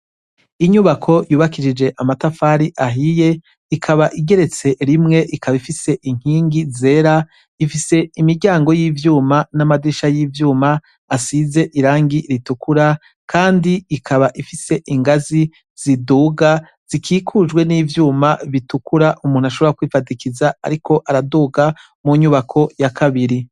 Inyubako yubakishije amatafari ahiye, ikaba igeretse rimwe ikaba ifise inkingi zera, ifise imiryango ry' ivyuma n' amadirisha y' ivyuma asize irangi ritukura, kandi ikaba rifise ingazi ziduga, zikikujwe n' ivyuma bitukura umuntu ashobora kwifadikiza ariko araduga mu nyubako ya kabiri.